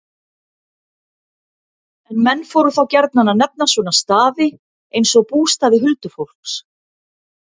En menn fóru þá gjarnan að nefna svona staði, eins og bústaði huldufólks.